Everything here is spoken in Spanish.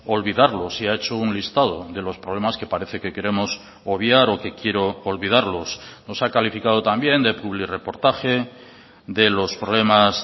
olvidarlos y ha hecho un listado de los problemas que parece que queremos obviar o que quiero olvidarlos nos ha calificado también de publirreportaje de los problemas